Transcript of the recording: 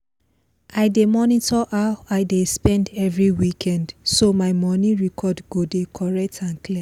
i dey monitor how i dey spend every weekend so my moni record go dey correct and clear